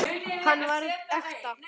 Hann var ekta.